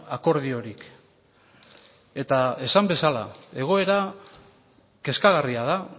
akordiorik eta esan bezala egoera kezkagarria da